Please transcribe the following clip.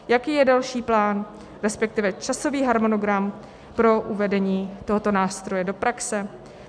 Jaký je další plán, respektive časový harmonogram pro uvedení tohoto nástroje do praxe?